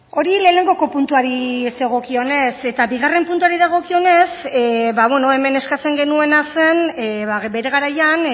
hori lehenengoko puntuari zegokionez eta bigarren puntuari dagokionez ba bueno hemen eskatzen genuena zen bere garaian